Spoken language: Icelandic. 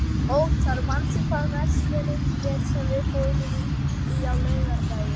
Óttar, manstu hvað verslunin hét sem við fórum í á laugardaginn?